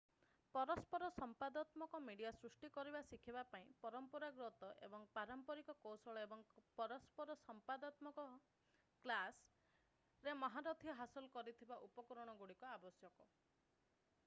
ପରସ୍ପର ସମ୍ବାଦାତ୍ମକ ମିଡିଆ ସୃଷ୍ଟି କରିବା ଶିଖିବା ପାଇଁ ପରମ୍ପରାଗତ ଏବଂ ପାରମ୍ପାରିକ କୌଶଳ ଏବଂ ପରସ୍ପର ସମ୍ବାଦାତ୍ମକ କ୍ଲାସ୍ ଷ୍ଟୋରୀବୋର୍ଡିଂ ଅଡିଓ ଏବଂ ଭିଡିଓ ଏଡିଟିଂ କାହାଣୀ କହିବା ଇତ୍ୟାଦି ରେ ମହାରଥୀ ହାସଲ କରାଯାଇଥିବା ଉପକରଣଗୁଡ଼ିକ ଆବଶ୍ୟକ।